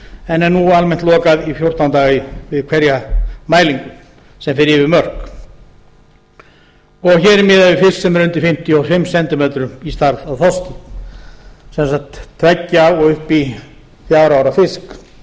en er nú almennt lokað í fjórtán daga við hverja mælingu sem fer yfir mörk og hér er miðað við fisk sem er undir fimmtíu og fimm cm í stærð á þorski sem sagt tveggja og upp í fjögra ára